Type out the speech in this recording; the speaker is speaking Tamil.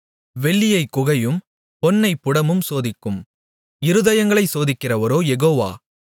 வெள்ளியைக் குகையும் பொன்னைப் புடமும் சோதிக்கும் இருதயங்களைச் சோதிக்கிறவரோ யெகோவா